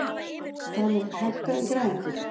Daniel, hækkaðu í græjunum.